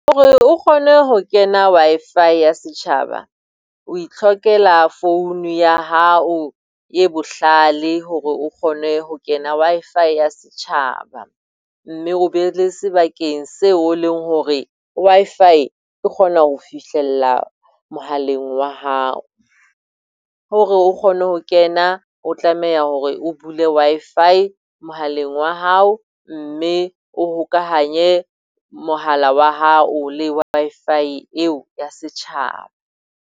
Hore o kgone ho kena Wi-Fi ya setjhaba, o itlhokela phone ya hao e bohlale hore o kgone ho kena Wi-Fi ya setjhaba. Mme o be o le sebakeng seo o leng hore Wi-Fi e kgona ho fihlella mohaleng wa hao. Hore o kgone ho kena o tlameha hore o bule Wi-Fi mohaleng wa hao, mme o hokahanye mohala wa hao le Wi-Fi eo ya setjhaba.